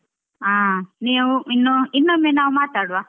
ಆ ನೀವು ಇನ್ನು ಇನ್ನೊಮ್ಮೆ ನಾವ್ ಮಾತಾಡ್ವ.